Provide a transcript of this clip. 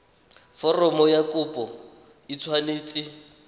foromo ya kopo e tshwanetse